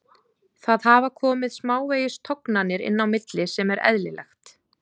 Það hafa komið smávegis tognanir inn á milli sem er eðlilegt.